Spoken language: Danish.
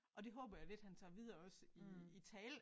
Og det håber jeg lidt han tager videre også i i tale